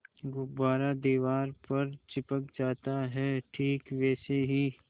गुब्बारा दीवार पर चिपक जाता है ठीक वैसे ही